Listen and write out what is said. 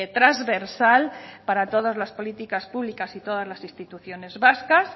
transversal para todas las políticas públicas y todas las instituciones vascas